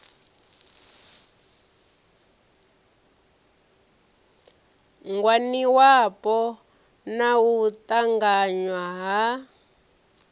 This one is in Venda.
ngwaniwapo na u ṱanganywa ha